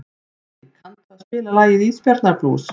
Marí, kanntu að spila lagið „Ísbjarnarblús“?